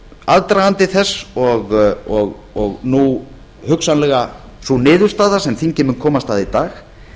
aðdragandi þess og nú hugsanlega sú niðurstaða sem þingið mun komast að í dag